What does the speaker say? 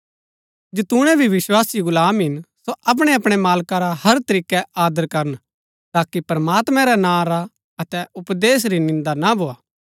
जैतूणै भी विस्वासी गुलाम हिन सो अपणै अपणै मालका रा हर तरीकै आदर करन ताकि प्रमात्मैं रै नां रा अतै उपदेश री निन्दा ना भोआ